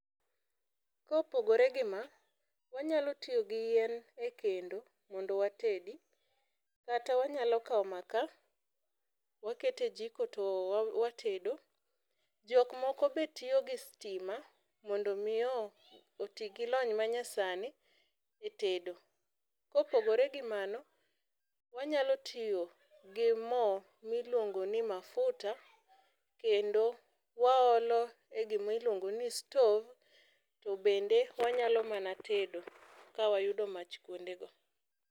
Kopogore gi ma, wanyalo tiyo gi yien ekendo mondo watedi kata wanyalo kawo makaa waketo e jiko to watedo. Jok moko betiyo gi sitima mondo mii oti gilony manyasani etedo. Kopogore gi mano, wanyalo tiyo gi moo miluongo ni mafuta kendo waolo e gimiluongo ni stov to bende wanyalo mana tedo kawayudo mach kuondego.